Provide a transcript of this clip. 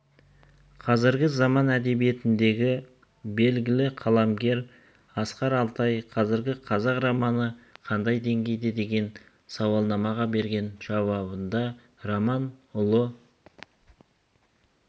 қазіргі заман әдебиетіндегі белгілі қаламгер асқар алтай қазіргі қазақ романы қандай деңгейде деген сауалнамаға берген жауабында роман ұлы